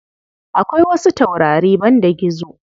Akwai wasu taurari banda gizo.